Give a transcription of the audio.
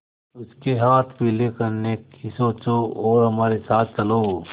उसके हाथ पीले करने की सोचो और हमारे साथ चलो